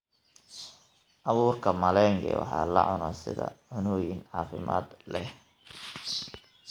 Abuurka malenge waxaa la cunaa sida cunnooyin caafimaad leh.